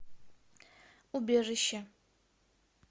убежище